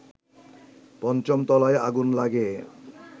৫ম তলায় আগুন লাগে